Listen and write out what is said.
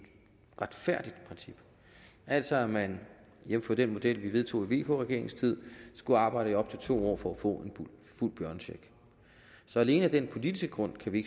retfærdigt princip altså at man jævnfør den model vi vedtog i vk regeringens tid skal arbejde i op til to år for at få en fuld børnecheck så alene af den politiske grund kan vi